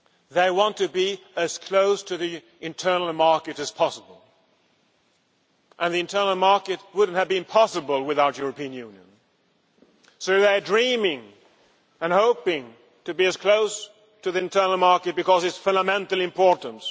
they want to be as close to the internal market as possible, and the internal market would not have been possible without the European Union, so they are dreaming and hoping to be as close as possible to the internal market, because of its fundamental importance.